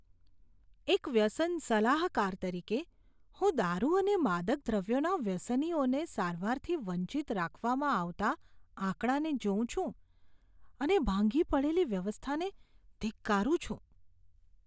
એક વ્યસન સલાહકાર તરીકે, હું દારૂ અને માદક દ્રવ્યોના વ્યસનીઓને સારવારથી વંચિત રાખવામાં આવતા આંકડાને જોઉં છું અને ભાંગી પડેલી વ્યવસ્થાને ધિક્કારું છું.